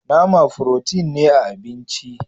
Nama "protein " ne a abinci.